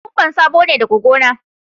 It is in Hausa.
Kokwamba sabo ne daga gona